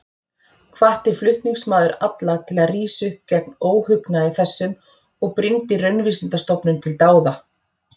Hvatti flutningsmaður alla til að rísa upp gegn óhugnaði þessum og brýndi Raunvísindastofnun til dáða.